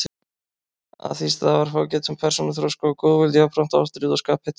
Af því stafar fágætum persónuþroska og góðvild, jafnframt ástríðu og skaphita.